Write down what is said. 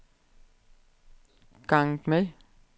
ganget med